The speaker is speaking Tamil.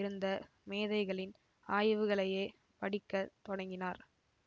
இருந்த மேதைகளின் ஆய்வுகளையே படிக்க தொடங்கினார்